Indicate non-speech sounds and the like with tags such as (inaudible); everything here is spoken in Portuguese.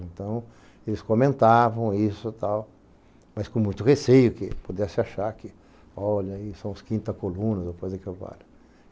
Então, eles comentavam isso e tal, mas com muito receio que pudesse achar que, olha ai, são os quinta coluna coisa (unintelligible)